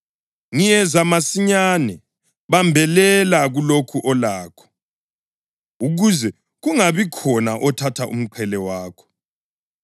Ngiyeza masinyane. Bambelela kulokho olakho, ukuze kungabikhona othatha umqhele wakho.